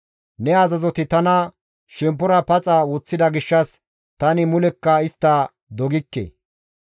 Ne azazoti tana shemppora paxa woththida gishshas tani mulekka istta dogikke.